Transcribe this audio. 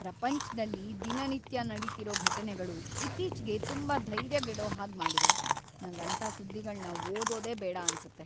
ಪ್ರಪಂಚ್ದಲ್ಲಿ ದಿನನಿತ್ಯ ನಡೀತಿರೋ ಘಟನೆಗಳು ಇತ್ತೀಚ್ಗೆ ತುಂಬಾ ಧೈರ್ಯಗೆಡೋ ಹಾಗ್‌ ಮಾಡಿವೆ, ನಂಗ್‌ ಅಂಥ ಸುದ್ದಿಗಳ್ನ ಓದೋದೇ ಬೇಡ ಅನ್ಸತ್ತೆ.